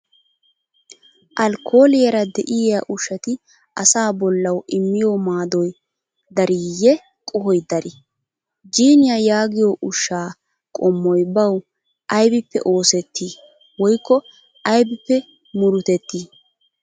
Alkooliyaara de'iyaa ushshati asaa bollawu immiyo maadoy dariiyye qohoy darii? Jinniyaa yaagiyo ushshaa qommoy bawu aybippe oosetti woykko aybippe murutettii?